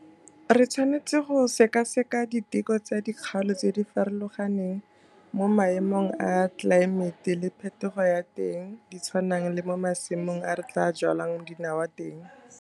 Re tshwanetse go sekaseka diteko tsa dikgaolo tse di farologaneng mo maemo a tlelaemete le phetogo ya teng di tshwanang le mo masimong a re tlaa jwalang dinawa teng.